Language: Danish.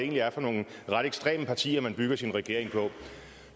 er for nogle ret ekstreme partier man bygger sin regering på